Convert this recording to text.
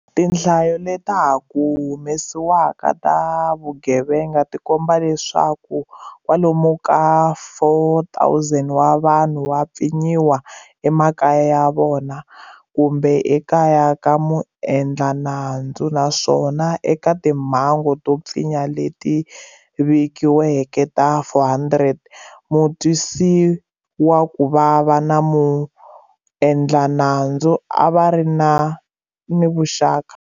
Tinhlayo leta ha ku hume siwaka ta swa vugevenga ti komba leswaku kwalomu ka 4,000 wa vanhu va pfinyiwile emakaya ya vona kumbe ekaya ka muendla nandzu, naswona eka timhangu to pfinya leti vikiweke ta 400 mutwisiwakuvava na muendlanandzu a va ri ni vuxaka.